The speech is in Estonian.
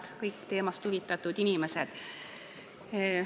Head kõik teemast huvitatud inimesed!